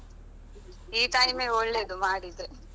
ಹೌದು ಈ time ಒಳ್ಳೆದು ಮಾಡಿದ್ರೆ.